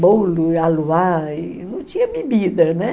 bolo e aluá e... não tinha bebida, né?